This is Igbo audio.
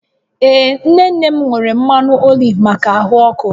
Ee nne nne m nwere mmanụ oliv maka ahụ ọkụ